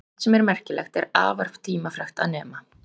sumt sem er merkilegt er afar tímafrekt að nema